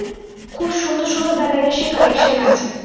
খুব সুন্দর সুন্দর বেনারসি collection আছে